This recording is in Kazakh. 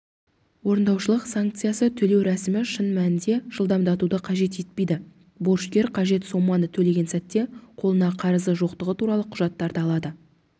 орындаушылық санкцияны төлеу рәсімі шын мәнінде жылдамдатуды қажет етпейді борышкер қажет соманы төлеген сәтте қолына қарызы жоқтығы туралы құжаттарды алады